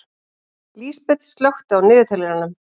Lísabet, slökktu á niðurteljaranum.